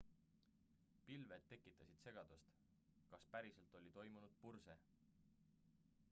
pilved tekitasid segadust kas päriselt oli toimunud purse